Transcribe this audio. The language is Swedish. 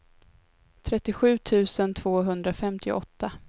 trettiosju tusen tvåhundrafemtioåtta